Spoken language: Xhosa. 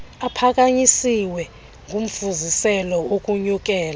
aphakanyisiweyo ngumfuziselo wokunyukela